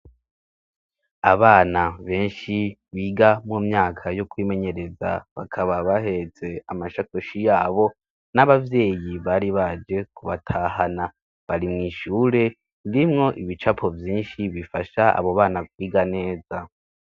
Abana benshi biga mu myaka yo kwimenyereza bakaba bahetse amashakoshi yabo, n'ababyeyi bari baje kubatahana. bari mw'ishure ririmwo ibicapo vyinshi bifasha abo bana biga neza.